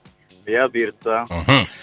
ия бұйыртса мхм